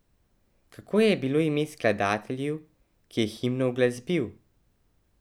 Kako je bilo ime skladatelju, ki je himno uglasbil?